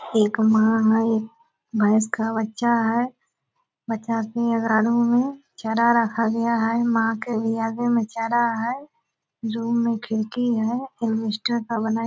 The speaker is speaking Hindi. एक माँ है एक भैस का बच्चा है बच्चा चार रखा खा लिया है माँ के भी आगे मे चारा है रूम मे खिड़की है अलवेस्टर का बना--